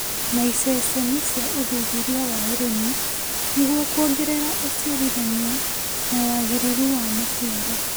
na iceceni cia ũthuthuria wa ũrĩmi, nĩguo kuongerera ũciarithania na wagĩrĩru wa maciaro.